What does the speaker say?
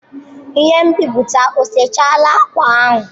Ihe nbiputa o sechala akwa ahụ?